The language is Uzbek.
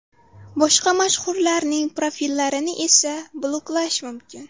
Boshqa mashhurlarning profillarni esa bloklash mumkin.